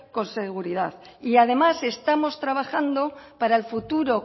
con seguridad además estamos trabajando para el futuro